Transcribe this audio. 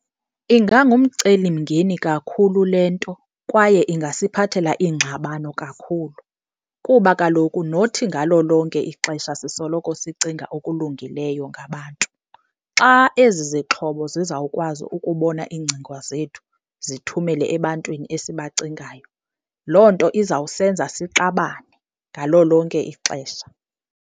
Ingangumceli mngeni kakhulu le nto kwaye ingasiphathela iingxabano kakhulu, kuba kaloku not ngalo lonke ixesha sisoloko sicinga okulungileyo ngabantu. Xa ezi zixhobo zizawukwazi ukubona iingcinga zethu zithumele ebantwini esibacingayo, loo nto izawusenza sixabane ngalo lonke ixesha.